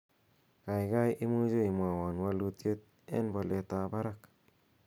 gaigai imuche imwowon wolutiet en bolet ab barak